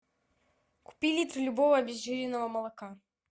купи литр любого обезжиренного молока